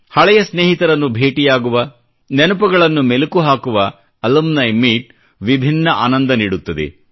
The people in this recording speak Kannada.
ಹಳೆಯ ಸ್ನೇಹಿತರನ್ನು ಭೇಟಿ ಆಗುವ ನೆನಪುಗಳನ್ನು ಮೆಲುಕು ಹಾಕುವ ಅಲುಮ್ನಿ ಮೀಟ್ ವಿಭಿನ್ನ ಆನಂದ ನೀಡುತ್ತದೆ